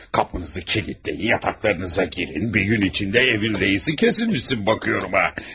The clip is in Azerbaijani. Qapınızı kilidləyin, yataqlarınıza girin, bir gün içində evin reisi kəsilmisən baxıram ha!